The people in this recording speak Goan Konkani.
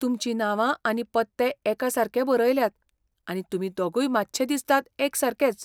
तुमचीं नावां आनी पत्ते एकासारके बरयल्यात, आनी तुमी दोगूय मात्शे दिसतात एकसारकेच.